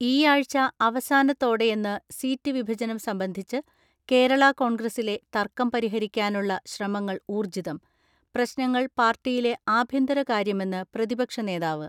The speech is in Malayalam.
ഈയാഴ്ച അവസാനത്തോടെയെന്ന് സീറ്റ് വിഭജനം സംബന്ധിച്ച് കേരള കോൺഗ്രസിലെ തർക്കം പരിഹരിക്കാനുള്ള ശ്രമങ്ങൾ ഊർജ്ജിതം ; പ്രശ്നങ്ങൾ പാർട്ടിയിലെ ആഭ്യന്തര കാര്യമെന്ന് പ്രതിപക്ഷ നേതാവ്.